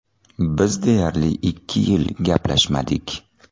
Biz deyarli ikki yil gaplashmadik.